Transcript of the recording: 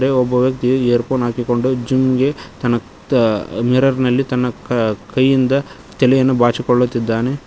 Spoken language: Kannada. ಒಬ್ಬ ವ್ಯಕ್ತಿ ಏರ್ ಫೋನ್ ಹಾಕಿಕೊಂಡು ಜಿಮ್ ಗೆ ತನ್ನ ತಾ ಮಿರರ್ ನಲ್ಲಿ ತನ್ನ ಕ ಕೈಯಿಂದ ತಲೆಯನ್ನ ಬಾಚಿಕೊಳ್ಳುತ್ತಿದ್ದಾನೆ.